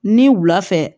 Ni wula fɛ